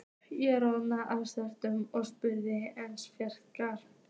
Ég roðnaði af skömm og spurði einskis frekar.